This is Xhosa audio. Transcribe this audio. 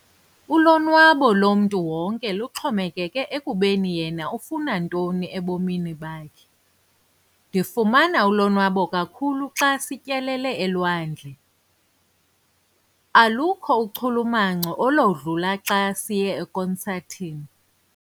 Ulonwabo lomntu wonke luxhomekeke ekubeni yena ufuna ntoni ebomini bakhe. ndifumana ulonwabo kakhulu xa sityelele elwandle, alukho uchulumanco oludlula xa siye ekonsathini